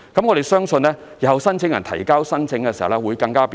我們相信日後申請人提交申請時會更為便利。